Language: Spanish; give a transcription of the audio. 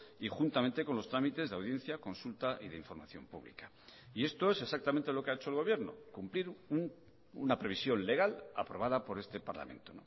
y juntamente con los trámites de audiencia consulta y de información pública y esto es exactamente lo que ha hecho el gobierno cumplir una previsión legal aprobada por este parlamento